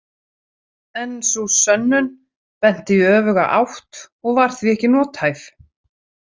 En sú „sönnun“ benti í öfuga átt og var því ekki nothæf.